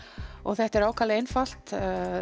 og þetta er ákaflega einfalt